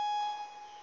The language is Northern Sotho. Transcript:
thaka o be o reng